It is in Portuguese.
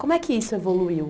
Como é que isso evoluiu?